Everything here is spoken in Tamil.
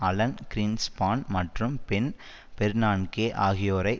அலன் க்ரீன்ஸ்பான் மற்றும் பென் பெர்னான்கே ஆகியோரை